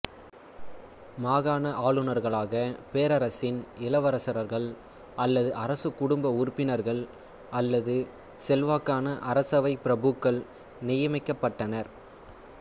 மாகாண ஆளுநர்களாக பேரரசின் இளவரசர்கள் அல்லது அரசகுடும்ப உறுப்பினர்கள் அல்லது செல்வாக்கான அரசவை பிரபுக்கள் நியமிக்கப்பட்டனர்